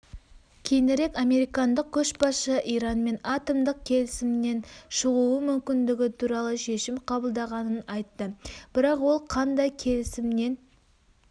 кейінірек американдық көшбасшы иранмен атомдық келісімнен шығуы мүмкіндігі туралы шешім қабылдағанын айтты бірақ ол қандай келісімнен